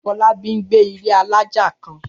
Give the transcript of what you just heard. Fọlábí ń gbé ní ilé alájà kan.